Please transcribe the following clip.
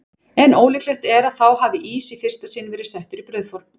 En ólíklegt er að þá hafi ís í fyrsta sinn verið settur í brauðform.